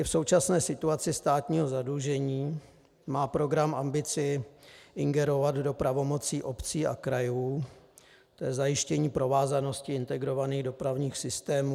I v současné situaci státního zadlužení má program ambici ingerovat do pravomocí obcí a krajů, to je zajištění provázanosti integrovaných dopravních systémů.